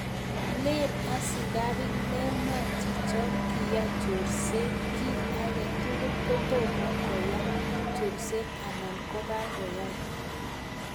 len askarik mamwaa chicho kiae chorset ki akei tugul kotoma koai chorset anan ko kakoai.